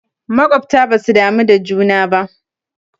Makwabta basu damu da juna ba